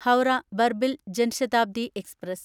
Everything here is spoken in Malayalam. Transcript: ഹൗറ ബർബിൽ ജൻ ശതാബ്ദി എക്സ്പ്രസ്